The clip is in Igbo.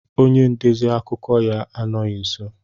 Onye ndezi akụkọ ya anọghị nso.